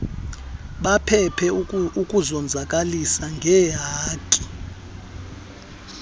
baphephe ukuzonzakalisa ngeehaki